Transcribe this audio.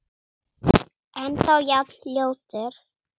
Ennþá jafn ljótur.